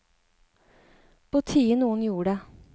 På tide noen gjorde det.